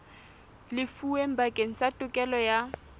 lefuweng bakeng sa tokelo ya